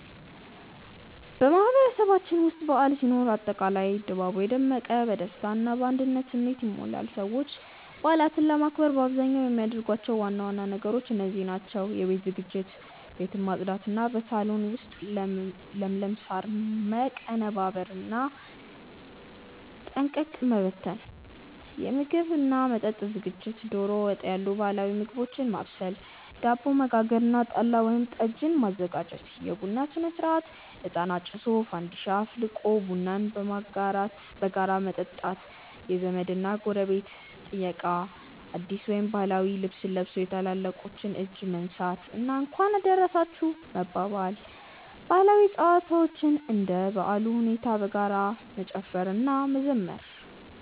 በማህበረሰባችን ውስጥ በዓል ሲኖር አጠቃላይ ድባቡ የደመቀ፣ በደስታ እና በአንድነት ስሜት ይሞላል። ሰዎች በዓላትን ለማክበር በአብዛኛው የሚያደርጓቸው ዋና ዋና ነገሮች እንደዚህ ናቸው፦ የቤት ዝግጅት፦ ቤትን ማጽዳት እና በሳሎን ውስጥ ለምለም ሳር ማቀነባበርና ጠንቀቀ መበተን። የምግብ እና መጠጥ ዝግጅት፦ ዶሮ ወጥ ያሉ ባህላዊ ምግቦችን ማብሰል፣ ዳቦ መጋገር እና ጠላ ወይም ጠጅ ማዘጋጀት። የቡና ሥነ-ሥርዓት፦ እጣን አጭሶ፣ ፋንዲሻ አፍልቆ ቡናን በጋራ መጠጣት። የዘመድ እና ጎረቤት ጥየቃ፦ አዲስ ወይም ባህላዊ ልብስ ለብሶ የታላላቆችን እጅ መንሳት እና "እንኳን አደረሳችሁ" መባባል። ባህላዊ ጨዋታዎች፦ እንደ በዓሉ ሁኔታ በጋራ መጨፈር እና መዘመር።